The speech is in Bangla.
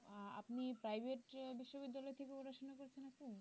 আহ আপনি private বিশ্ববিদ্যালয় থেকে পড়াশোনা করেছেন আপু?